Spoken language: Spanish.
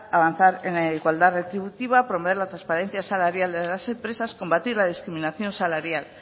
avanzar en la igualdad retributiva promover la transparencia salarial de las empresas combatir la discriminación salarial